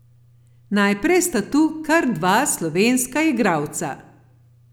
Najprej sta tu kar dva slovenska igralca.